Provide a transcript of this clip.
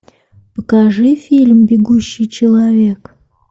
покажи фильм бегущий человек